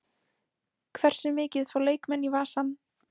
Hversu mikið fá leikmenn í vasann?